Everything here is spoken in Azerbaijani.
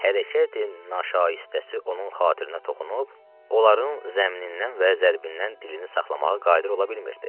Hərəkətin naşaisəsi onun xatirinə toxunub, onların zəmnindən və zərbindən dilini saxlamağa qadir ola bilmirdi.